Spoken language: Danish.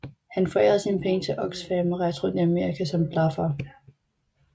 Han forærede sine penge til Oxfam og rejste rundt i Amerika som blaffer